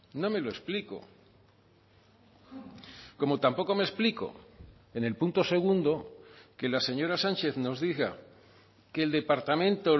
no me lo explico como tampoco me explico en el punto segundo que la señora sánchez nos diga que el departamento